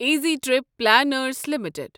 easy Trip Planners limited